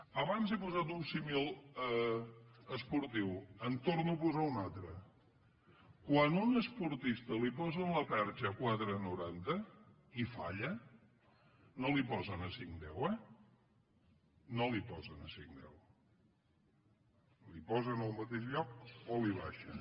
abans he posat un símil esportiu en torno a posar un altre quan a un esportista li posen la perxa a quatre coma noranta i falla no la hi posen a cinc coma deu eh no la hi posen a cinc coma deu la hi posen al mateix lloc o la hi baixen